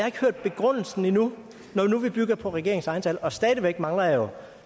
ikke hørt begrundelsen endnu når nu vi bygger på regeringens egne tal og stadig væk mangler jeg og